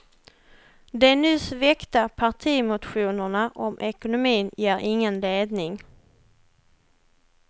De nyss väckta partimotionerna om ekonomin ger ingen ledning.